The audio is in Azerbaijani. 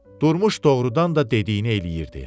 Durmuş doğurdan da dediyini eləyirdi.